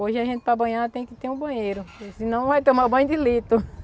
Hoje a gente para banhar tem que ter um banheiro, senão vai tomar banho de litro.